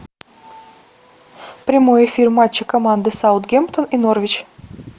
прямой эфир матча команды саутгемптон и норвич